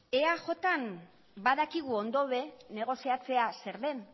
eajn badakigu ondo negoziatzea zer den